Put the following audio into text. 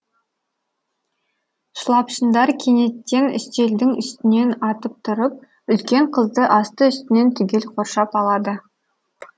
шылапшындар кенеттен үстелдің үстінен атып тұрып үлкен қызды асты үстінен түгел қоршап алады